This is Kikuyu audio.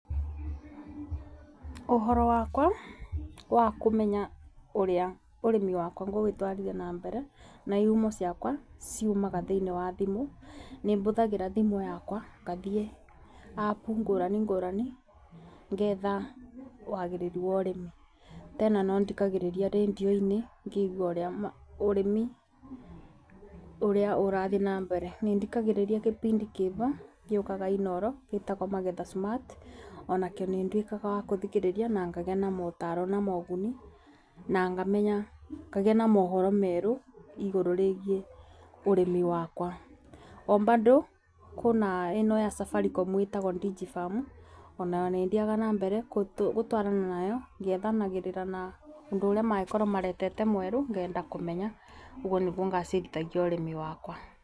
Ũhoro wakwa wa kũmenya ũrĩa ũrĩmi wakwa ngũũtwarithia na mbere na ihumo ciakwa ciumaga thĩinĩ wa thimũ. Nĩ bũthagĩra thimũ yakwa ngathiĩ app ngũrani ngũrani ngetha wagĩrĩru wa ũrĩmi. Tena no thikagĩriria rendio-inĩ ngĩigua ũrĩa ũrĩmi ũrathiĩ na mbere, nĩ thikagĩrĩria gĩbindĩ kĩbo gĩukaga inooro gĩtagwo magetha smart, onakĩo nĩ ndũĩkaga wa kũthikĩrĩria na ngagĩa na motaro na uguni na ngamenya ngagĩa na mohoro merũ igũrũ rĩgiĩ ũrĩmi wakwa. O bandũ kwĩna ino ya Safaricom ĩtagwo Digifarm onayo nĩ thiaga na mbere kũtwarana nayo ngĩethanagĩrira na ũndũ ũria mangĩkorwo maretete mweru ngenda kũmenya, ũguo nĩguo ngacĩrithagia ũrĩmi wakwa.